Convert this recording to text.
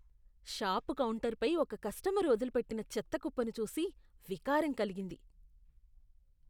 Shop కౌంటరుపై ఒక customer వదిలిపెట్టిన చెత్త కుప్పను చూసి వికారం కలిగింది.